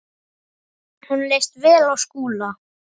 Honum leist vel á Skúla.